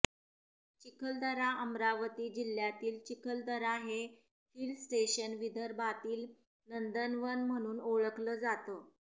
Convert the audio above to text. चिखलदराः अमरावती जिल्ह्यातील चिखलदरा हे hill station विदर्भातील नंदनवन म्हणून ओळखलं जातं